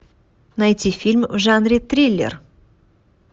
найти фильм в жанре триллер